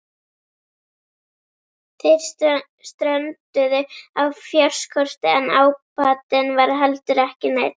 Þeir strönduðu á fjárskorti en ábatinn var heldur ekki neinn.